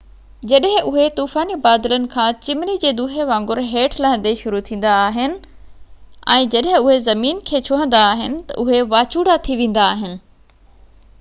جڏهن اهي طوفاني بادلن کان چمني جي دونهي وانگر هيٺ لهندي شروع ٿيندا آهن ۽ جڏهن اهي زمين کي ڇهندا آهن تہ اهي واچوڙا ٿي ويندا آهن